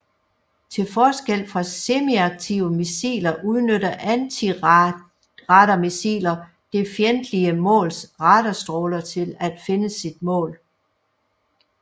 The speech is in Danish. Til forskel fra semiaktive missiler udnytter antiradarmissiler det fjendtlige måls radarstråler til finde sit mål